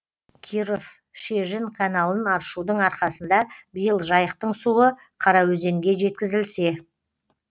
киров шежін каналын аршудың арқасында биыл жайықтың суы қараөзенге жеткізілсе